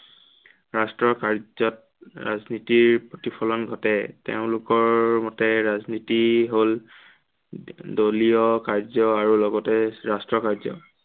ৰাষ্ট্ৰ্ৰৰ কাৰ্যত ৰাজনীতিৰ প্ৰতিফলন ঘটে। তেওঁলোকৰ মতে ৰাজনীতি হ'ল দলীয় কাৰ্য আৰু লগতে ৰাষ্ট্ৰৰ কাৰ্য।